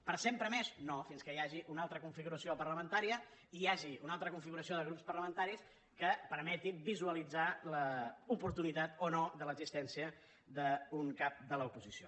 per sempre més no fins que hi hagi una altra configuració parlamentària hi hagi una altra configuració de grups parlamentaris que permeti visualitzar l’oportunitat o no de l’existència d’un cap de l’oposició